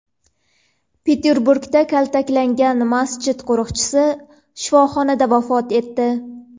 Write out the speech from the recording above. Peterburgda kaltaklangan masjid qo‘riqchisi shifoxonada vafot etdi.